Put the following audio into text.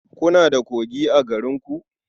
Kuna da kogi a garinku?